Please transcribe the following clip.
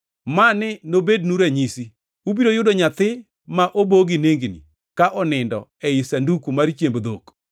Mani nobednu ranyisi: Ubiro yudo nyathi ma obo gi nengni ka onindo ei sanduku mar chiemb dhok.”